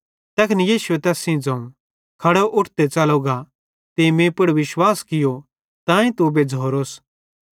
तैखन यीशुए तैस ज़ोवं खड़ो उठ ते च़लो गा तीं मीं पुड़ विश्वास कियो तांए तू बेज़्झ़ोरोस